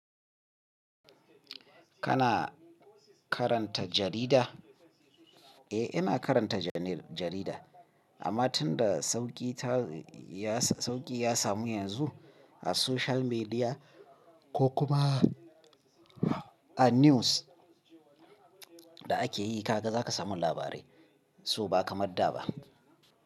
Kana karanta jarida? Eh, ina karanta jane- jarida. Amma tun da sauki ta ya sa- sauki ya samu yanzu a social media ko kuma a news da ake yi ka gaza ka samu labarai, so ba kamar da ba.